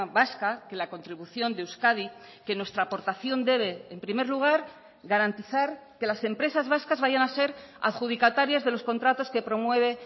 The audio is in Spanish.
vasca que la contribución de euskadi que nuestra aportación debe en primer lugar garantizar que las empresas vascas vayan a ser adjudicatarias de los contratos que promueve